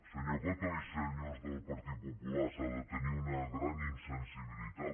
senyor coto i senyors del partit popular s’ha de tenir una gran insensibilitat